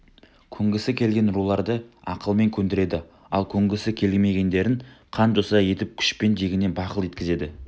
көнгісі келген руларды ақылмен көндіреді ал көнгісі келмегендерін қан-жоса етіп күшпен дегеніне бақыл еткізеді